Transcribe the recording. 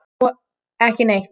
Svo ekki neitt.